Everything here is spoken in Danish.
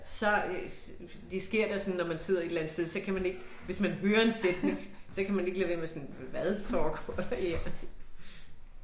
Så øh det sker da sådan når man sidder et eller andet sted, så kan man ikke, hvis man hører en sætning så kan man ikke lade være sådan hvad foregår der her?